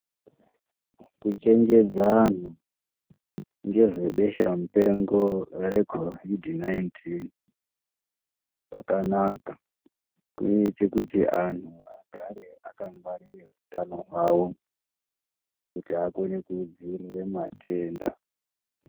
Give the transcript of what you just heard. Kuchenjedza ngezvebwsha mupengo re COVID 19 kwakanaka ngokuti kunoita kuti wanhu agare aka ngwarire utano hwavo kuti akone kudzivirira matenda.